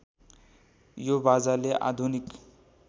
यो बाजाले आधुनिक